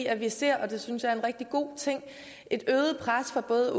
at vi ser et øget pres fra både